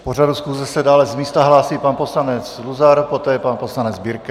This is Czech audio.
K pořadu schůze se dále z místa hlásí pan poslanec Luzar, poté pan poslanec Birke.